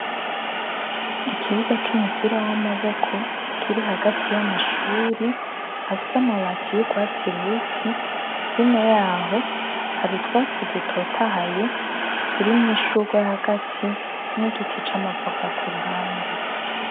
Ikibuga c'umupira w'amaboko kiri hagati y'amashuri afise amabati y'urwatsi rubisi, hino yaho hari utwatsi dutotahaye turimwo ishurwe hagati n'igiti c'amavoka ku ruhande.